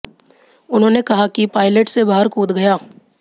उन्होंने कहा कि पायलट से बाहर कूद गया